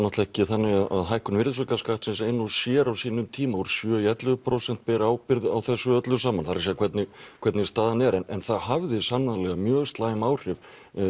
það ekki þannig að hækkun virðisaukaskattsins ein og sér á sínum tíma úr sjö í ellefu prósent beri ábyrgð á þessu öllu saman það er að segja hvernig hvernig staðan er en það hafði sannarlega mjög slæm áhrif